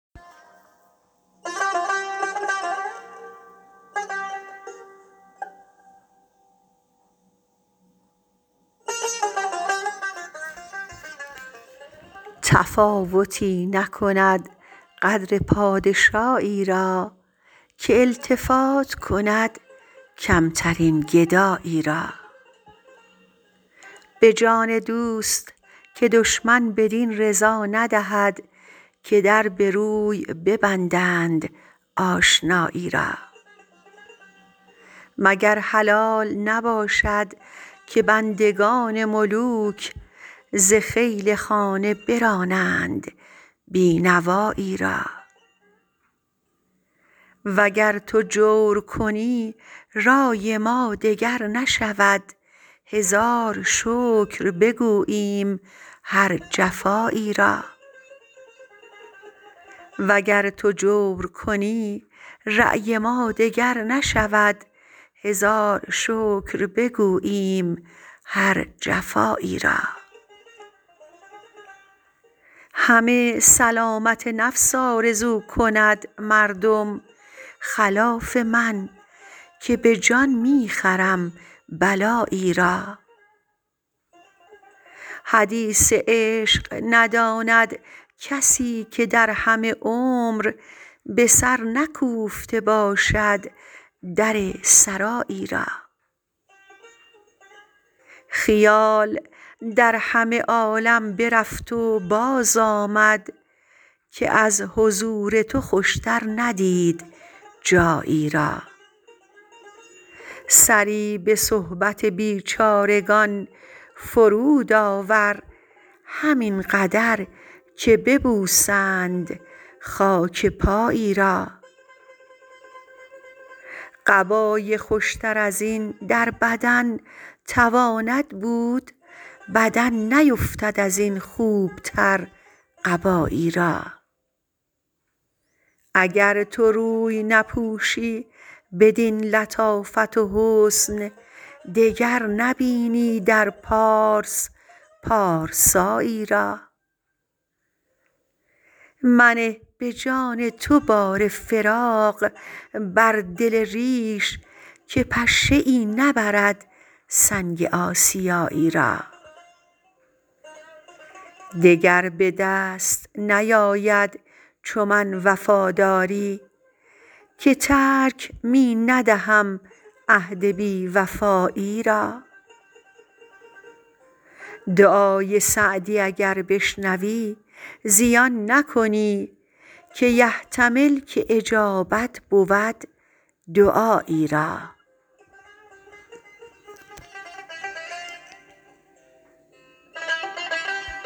تفاوتی نکند قدر پادشایی را که التفات کند کمترین گدایی را به جان دوست که دشمن بدین رضا ندهد که در به روی ببندند آشنایی را مگر حلال نباشد که بندگان ملوک ز خیل خانه برانند بی نوایی را و گر تو جور کنی رای ما دگر نشود هزار شکر بگوییم هر جفایی را همه سلامت نفس آرزو کند مردم خلاف من که به جان می خرم بلایی را حدیث عشق نداند کسی که در همه عمر به سر نکوفته باشد در سرایی را خیال در همه عالم برفت و بازآمد که از حضور تو خوشتر ندید جایی را سری به صحبت بیچارگان فرود آور همین قدر که ببوسند خاک پایی را قبای خوشتر از این در بدن تواند بود بدن نیفتد از این خوبتر قبایی را اگر تو روی نپوشی بدین لطافت و حسن دگر نبینی در پارس پارسایی را منه به جان تو بار فراق بر دل ریش که پشه ای نبرد سنگ آسیایی را دگر به دست نیاید چو من وفاداری که ترک می ندهم عهد بی وفایی را دعای سعدی اگر بشنوی زیان نکنی که یحتمل که اجابت بود دعایی را